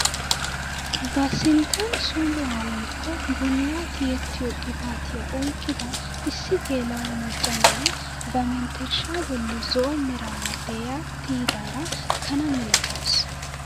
Ba sinttan som"uwaa woykko bollaa tiyettiyoo qibatiyaa oyqqida issi geela'o macca na'iyaa ba mentershshaa bolli zo'o meraara de'iyaa tiyidaara kanaa milatawus!